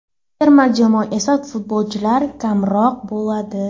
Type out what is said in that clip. Terma jamoada esa futbolchilar kamroq bo‘ladi.